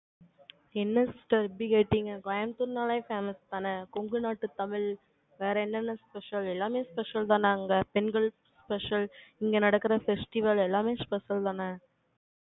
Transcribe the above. என்ன sister இப்படி கேட்டீங்க? கோயம்புத்தூர்ன்னாலே, famous தானே? கொங்கு நாட்டு தமிழ், வேற என்னென்ன special எல்லாமே special தான அங்க? பெண்கள், special இங்க நடக்குற festival எல்லாமே special தானே?